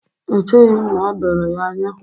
Echeghi m na o doro ya anya.